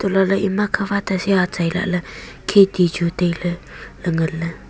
elahley ima khawate si atsai lahley kheti chu tailey ley nganley.